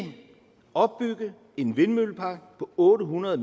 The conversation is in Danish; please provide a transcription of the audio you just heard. opbygge en vindmøllepark på otte hundrede